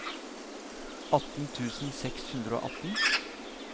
atten tusen seks hundre og atten